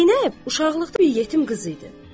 Zeynəb uşaqlıqda bir yetim qız idi.